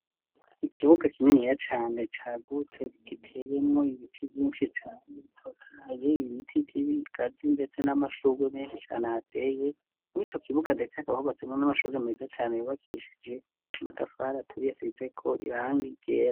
Ikibuga kininiya cane cagutse giteyemwo ibiti vyinshi cane bitotahaye, ibiti vy'ibigazi ndetse n'amashurwe menshi cane ahateye, mw'ico kibuga ndetse hakaba hubatsemwo n'amashure meza cane yubakishije amatafari aturiye asizeko irangi ryera.